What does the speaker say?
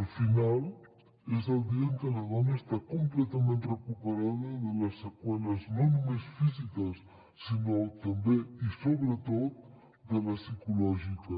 el final és el dia en què la dona està completament recuperada de les seqüeles no només físiques sinó també i sobretot de les psicològiques